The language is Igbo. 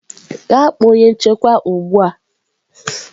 Gaa kpọọ onye nchekwa ugbu a!